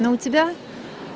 но у тебя